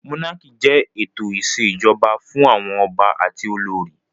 Mónákì jẹ́ ètò ìṣèjọba fún àwọn ọba àti olórí